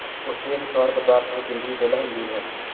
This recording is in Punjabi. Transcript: ਉਸਦੇ ਅਨੁਸਾਰ ਪਦਾਰਥ ਵਿੱਚ ਜ਼ਿੰਦਗੀ ਪਹਿਲਾਂ ਹੀ ਮੌਜੂਦ ਹੈ